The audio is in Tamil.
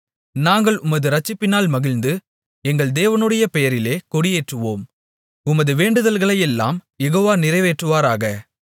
நாங்கள் உமது இரட்சிப்பினால் மகிழ்ந்து எங்கள் தேவனுடைய பெயரிலே கொடியேற்றுவோம் உமது வேண்டுதல்களையெல்லாம் யெகோவா நிறைவேற்றுவாராக